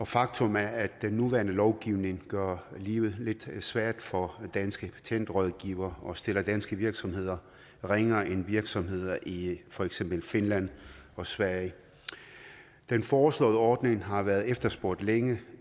faktum er at den nuværende lovgivning gør livet lidt svært for danske patentrådgivere og stiller danske virksomheder ringere end virksomheder i for eksempel finland og sverige den foreslåede ordning har været efterspurgt længe